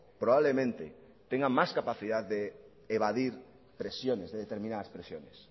probablemente tenga más capacidad de evadir presiones de determinadas presiones